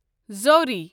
زوری